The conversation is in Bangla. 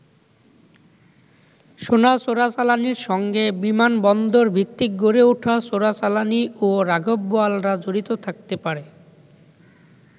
সোনা চোরাচালানির সঙ্গে বিমানবন্দর ভিত্তিক গড়ে ওঠা চোরাচালানি ও রাঘববোয়ালরা জড়িত থাকতে পারে।